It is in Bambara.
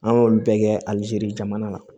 An y'olu bɛɛ kɛ alizeri jamana la